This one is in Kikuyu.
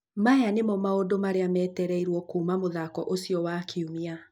Maya nĩmo maũndũ marĩa metereirwo kuuma mũthako ũcio wa kiumia